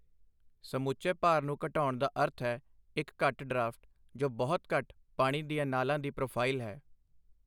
ਸਮੁੱਚੇ ਭਾਰ ਨੂੰ ਘਟਾਉਣ ਦਾ ਅਰਥ ਹੈ ਇੱਕ ਘੱਟ ਡਰਾਫਟ, ਜੋ ਬਹੁਤ ਘੱਟ ਪਾਣੀ ਦੀਆਂ ਨਾਲਾਂ ਦੀ ਪ੍ਰੋਫਾਈਲ ਹੈ।